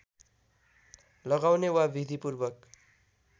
लगाउने वा विधिपूर्वक